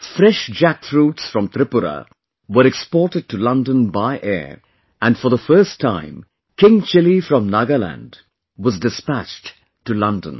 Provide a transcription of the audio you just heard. Fresh jackfruits from Tripura were exported to London by air and for the first time King Chilli from Nagaland was dispatched to London